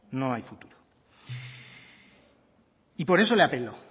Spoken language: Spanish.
no hay futuro y por eso le apelo